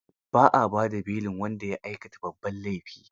Ba a ba da belin wanda ya aikata babban laifi.